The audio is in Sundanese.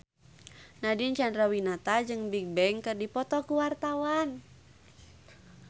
Nadine Chandrawinata jeung Bigbang keur dipoto ku wartawan